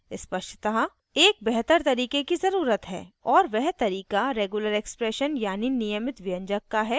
स्पष्टतः एक बेहतर तरीके की ज़रुरत है और वह तरीका regular expressions यानि नियमित व्यंजक का है